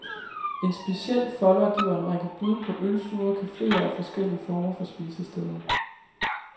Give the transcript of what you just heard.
En special folder giver en række bud på ølstuer, cafeer og forskellige former for spisesteder.